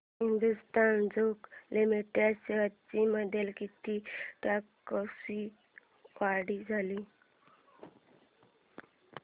Hindustan zinc limited shares मध्ये किती टक्क्यांची वाढ झाली